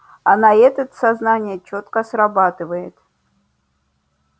а на этот сознание чётко срабатывает